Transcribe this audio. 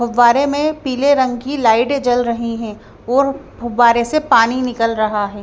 फव्वारे मे पीले रंग की लाइट जल रही है और फव्वारे से पानी निकल रहा है।